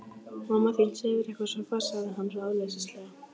Mamma þín sefur eitthvað svo fast sagði hann ráðleysislega.